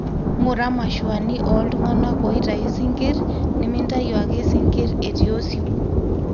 ngura mashuani oltungana loitayu sikirr, nimintayu ake sinkir etii osiwuo